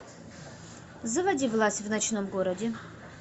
заводи власть в ночном городе